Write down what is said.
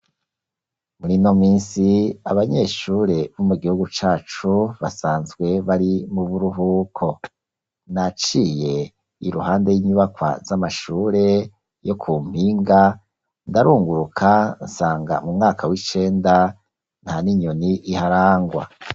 Murino minsi abanyeshure bo mugihugu cacu basanzwe bari Muburuhuko naciye iruhande inyubakwa z’amashure yo kumpinga ndarunguruka nsanga mumwaka wicenda nsanga ntaninyoni iharangwa.